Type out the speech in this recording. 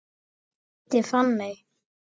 Ég heiti Fanney.